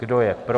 Kdo je pro?